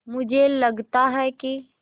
मुझे लगता है कि